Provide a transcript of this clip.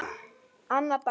Annað dæmi.